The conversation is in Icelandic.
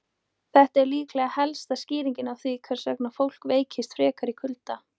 Þetta er líklega helsta skýringin á því hvers vegna fólk veikist frekar í kulda.